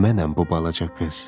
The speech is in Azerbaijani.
Mənəm bu balaca qız.